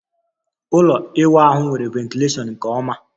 ụlọ ịwụ ahu nwere ventilashion nke oma